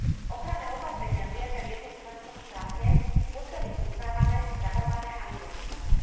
Ochranné opatrenia prijaté v jednom členskom štáte musia byť uznávané, spravované a vymožiteľné.